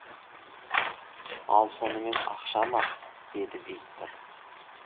ал сонымен ақша ма деді виктор